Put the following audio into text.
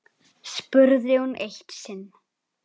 spurði hún eitt sinn.